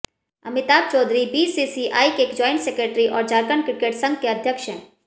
Amitabh Chaudhary BCCI के joint secretary और Jharkhand cricket संघ के अध्यक्ष हैं